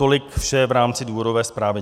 Tolik vše v rámci důvodové zprávy.